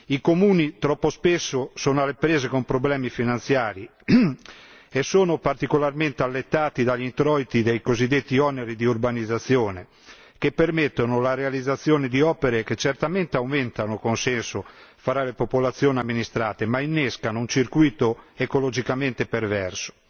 I comuni troppo spesso sono alle prese con problemi finanziari e sono particolarmente allettati dagli introiti dei cosiddetti oneri di urbanizzazione, che permettono la realizzazione di opere che certamente aumentano il consenso fra le popolazioni amministrate, ma innescano un circuito ecologicamente perverso.